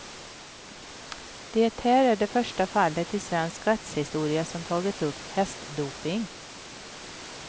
Det här är det första fallet i svensk rättshistoria som tagit upp hästdoping.